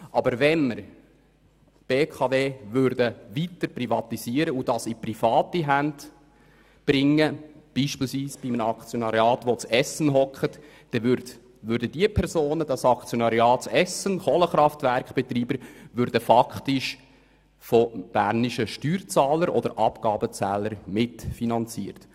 Wenn wir die BKW aber weiter privatisieren und in private Hände bringen würden, beispielsweise mit einem Aktionariat von Kohlenkraftwerkbetreibern in Essen, dann würden diese Personen faktisch von bernischen Abgabenzahlern mitfinanziert.